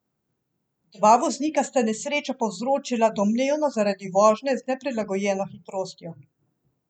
Dva voznika sta nesrečo povzročila domnevno zaradi vožnje z neprilagojeno hitrostjo.